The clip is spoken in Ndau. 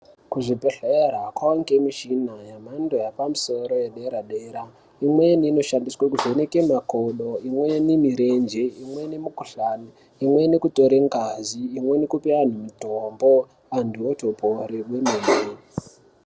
Kuzvibhedhlera kwave ngemichina yemhando ye pamusoro yedera-dera, imweni inoshandiswa kuvheneke makodo, imweni mirenje, imweni mikhuhlani, imweni kutora ngazi, imweni kupa anthu mutombo, anthu otopore kwemene.